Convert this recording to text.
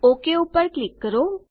okay પર click કરો